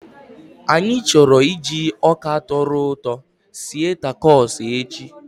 Anyị chọrọ iji ọka tọrọ ụtọ sie takos echi